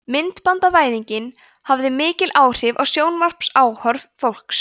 myndbandavæðingin hafði mikil áhrif á sjónvarpsáhorf fólks